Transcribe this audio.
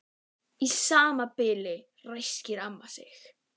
Í sama bili ræskti amma sig.